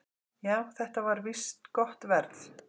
"""Já, þetta var víst gott verð."""